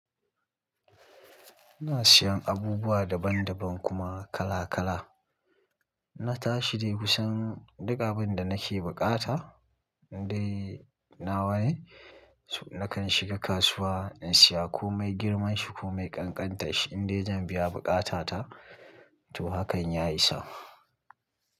Ina siyan abubuwa daban daban kuma kala kala. Na tashi dai kusan duka abin da nake buƙata in dai nawa ne. Nakan shiga kasuwa in siya komai girman shi komai kankantarshi inda zan biya bukatata to hakan ya isa.